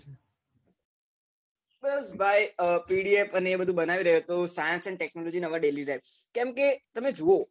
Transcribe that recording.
બસ ભાઈ pdf ને એ બધું બનાવી રહ્યો તો science and technology ના daily type હવે લીધા છે કેમ કે તમે જુવો.